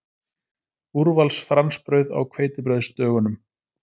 Úrvals fransbrauð á hveitibrauðsdögunum!